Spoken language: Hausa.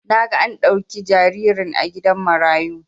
Naga an dauki jaririn a gidan marayu